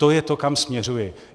To je to, kam směřuji.